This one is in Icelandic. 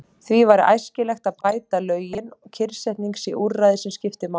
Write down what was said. Því væri æskilegt að bæta lögin, kyrrsetning sé úrræði sem skipti máli.